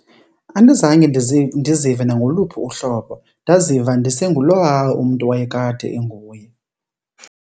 Andizange ndizive nangoluphi uhlobo, ndaziva ndisengulowaa umntu wayekade enguye.